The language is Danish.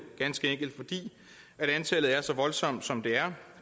ganske enkelt fordi antallet er så voldsomt som det er